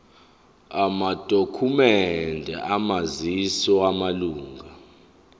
amadokhumende omazisi wamalunga